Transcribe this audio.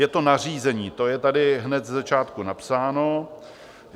Je to nařízení, to je tady hned ze začátku napsáno.